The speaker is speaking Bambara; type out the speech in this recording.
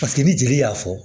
Paseke ni jeli y'a fɔ